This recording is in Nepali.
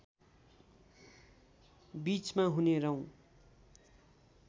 बीचमा हुने रौँ